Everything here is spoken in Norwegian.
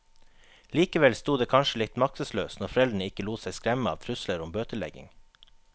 Likevel stod det kanskje litt maktesløst når foreldrene ikke lot seg skremme av trusler om bøtelegging.